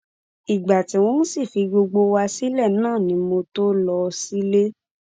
ìgbà tí wọn sì fi gbogbo wa sílẹ náà ni mo tóó lọọ sílẹ